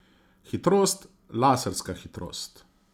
Hitrost, laserska hitrost.